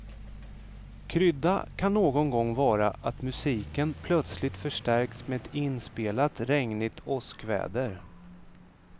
Krydda kan någon gång vara att musiken plötsligt förstärks med ett inspelat regnigt åskväder.